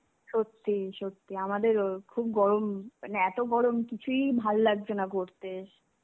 সত্যি সত্যি, আমাদেরও খুব গরম, মানে এতো গরম কিছুই ভাল লাগছেনা করতে.